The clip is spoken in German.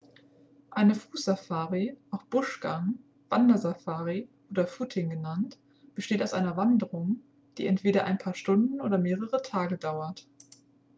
eine fußsafari auch buschgang wandersafari oder footing genannt besteht aus einer wanderung die entweder ein paar stunden oder mehrere tage dauert